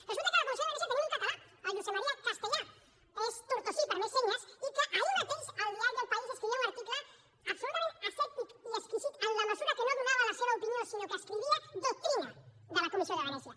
resulta que a la comissió de venècia hi tenim un català el josep maria castellà és tortosí per més senyes i ahir mateix al diari el país hi escrivia un article absolutament asèptic i exquisit en la mesura que no donava la seva opinió sinó que escrivia doctrina de la comissió de venècia